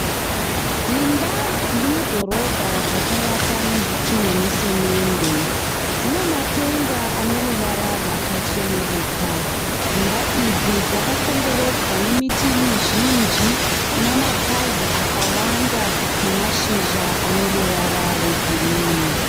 Dzimba dziri mudhoromba dzakavakwa nezvitinha nesemende. Dzinamatenga ane ruvara rwakacheneruka. Dzimba idzi dzakakomberedzwa nemiti mizhinji ina mapazi akawanda namashizha ane ruvara rwegirini.